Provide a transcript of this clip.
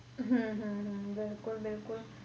ਹਮ ਹਮ ਹਮ ਬਿਲਕੁਲ ਬਿਲਕੁਲ